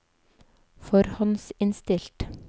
forhåndsinnstilt